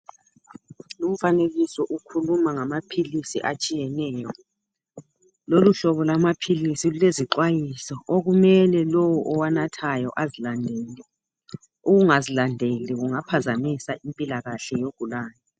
Lumfanekiso ukhuluma ngamaphilisi atshiyeneyo. Lolu hlobo lwamaphilisi lulezixwayiso okumele lowo owanathayo azilandele. Ukungazilandeli kungaphazamisa impilakahle yogulayo.